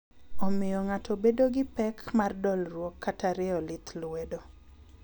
Omiyo ng'ato edo gi pek mar dolruok kata rieyo lith luedo.